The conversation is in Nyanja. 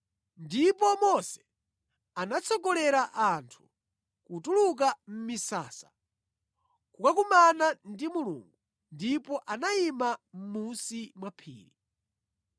Ndipo Mose anatsogolera anthu kutuluka mʼmisasa kukakumana ndi Mulungu, ndipo anayima mʼmunsi mwa phiri.